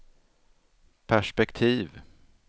perspektiv